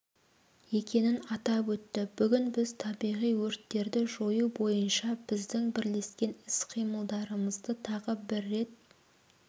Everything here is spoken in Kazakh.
екенін атап өтті бүгін біз табиғи өрттерді жою бойынша біздің бірлескен іс-қимылдарымызды тағы бір рет